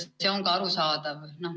See on ka arusaadav.